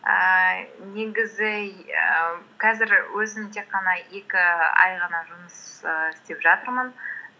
ііі негізі ііі қазір өзім тек қана екі ай ғана жұмыс ііі істеп жатырмын